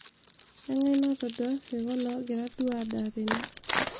engae natodua isirkon ogira duo aadaa tene